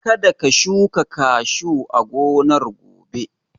Ka da ka shuka kashu a gonar gobe!